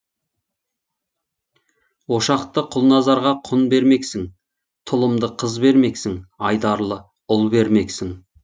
ошақты құлназарға құн бермексің тұлымды қыз бермексің айдарлы ұл бермексің